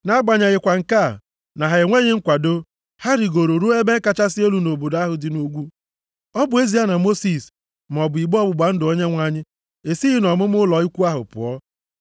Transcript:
Nʼagbanyeghịkwa nke a, na ha enweghị nkwado. Ha rigooro ruo ebe kachasị elu nʼobodo ahụ dị nʼugwu, ọ bụ ezie na Mosis maọbụ igbe ọgbụgba ndụ Onyenwe anyị esighị nʼọmụma ụlọ ikwu ahụ pụọ.